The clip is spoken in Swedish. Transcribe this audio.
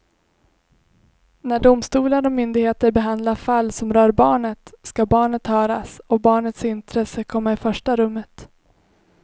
När domstolar och myndigheter behandlar fall som rör barnet ska barnet höras och barnets intresse komma i första rummet.